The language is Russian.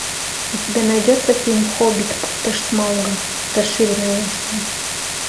у тебя найдется фильм хоббит пустошь смауга расширенная версия